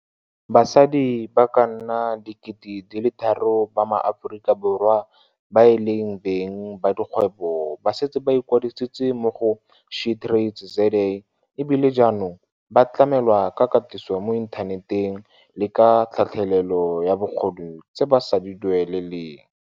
Basadi ba ka nna 3 000 ba maAforika Borwa ba e leng beng ba dikgwebo ba setse ba ikwadisitse mo go SheTradesZA e bile jaanong ba tlamelwa ka katiso mo inthaneteng le ka tlhatlhelelo ya bokgoni tse ba sa di dueleleng.